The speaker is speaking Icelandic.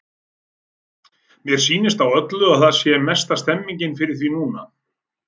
Mér sýnist á öllu að það sé mesta stemningin fyrir því núna!